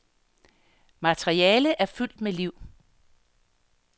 Materialet er fyldt med liv.